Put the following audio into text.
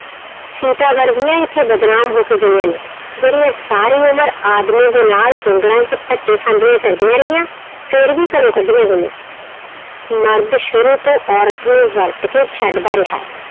ਸੀਤਾ ਵਰਗੀਆਂ ਇੱਥੇ ਬਦਨਾਮ ਹੋ ਕੇ ਗਈਆਂ ਨੇ, ਜਿਹੜੀ ਸਾਰੀ ਉਮਰ ਆਦਮੀ ਦੇ ਨਾਲ ਜੰਗਲਾਂ 'ਚ ਧੱਕੇ ਖਾਂਦੀਆਂ ਫਿਰਦੀਆਂ ਰਹੀਆਂ ਫਿਰ ਵੀ ਘਰੋਂ ਕੱਢੀਆਂ ਗਈਆਂ, ਮਰਦ ਸ਼ੁਰੂ ਤੋਂ ਔਰਤ ਨੂੰ ਵਰਤ ਕੇ ਛੱਡਦਾ ਰਿਹਾ ਹੈ।